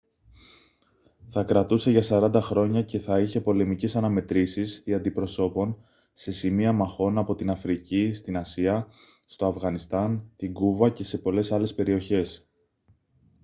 θα κρατούσε για 40 χρόνια και θα είχε πολεμικές αναμετρήσεις δια αντιπροσώπων σε σημεία μαχών από την αφρική στην ασία στο αφγανιστάν την κούβα και σε πολλές άλλες περιοχές